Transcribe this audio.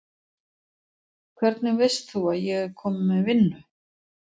Hvernig veist þú að ég er komin með vinnu?